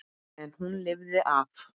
En hún lifði af.